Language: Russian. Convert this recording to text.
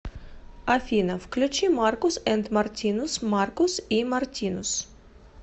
афина включи маркус энд мартинус маркус и мартинус